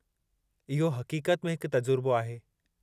इहो हक़ीक़त में हिकु तजुर्बो आहे।